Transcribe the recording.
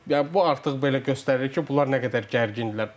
yəni bu artıq belə göstərir ki, bunlar nə qədər gərgindirlər.